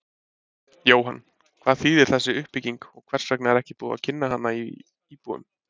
Jóhann, hvað þýðir þessi uppbygging og hvers vegna er ekki búið að kynna hana íbúum?